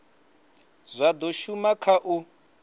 zwa do shuma kha u